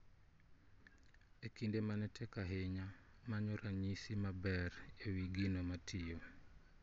E kinde mane tek ahinya, manyo ranyisi maber e wi gino matiyo